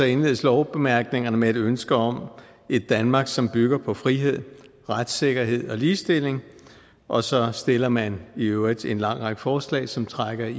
indledes lovbemærkningerne med et ønske om et danmark som bygger på frihed retssikkerhed og ligestilling og så stiller man i øvrigt en lang række forslag som trækker i